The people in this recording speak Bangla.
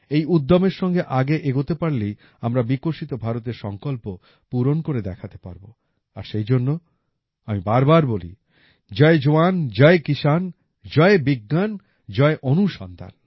এই উদ্যমের সঙ্গে আগে এগোতে পারলেই আমরা বিকশিত ভারতের সংকল্প পূরণ করে দেখাতে পারবো আর সেইজন্য আমি বারবার বলি জয় জওয়ান জয় কিষান জয় বিজ্ঞান জয় অনুসন্ধান